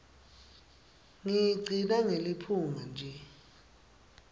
ngiyigcina ngeliphunga nje